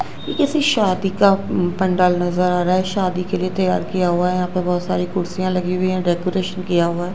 ये किसी शादी का पंडाल नजर आ रहा है शादी के लिए तैयार किया हुआ है यहां पे बहोत सारी कुर्सियां लगी हुई है डेकोरेशन किया हुआ--